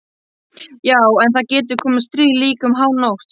Já en það getur komið stríð, líka um hánótt.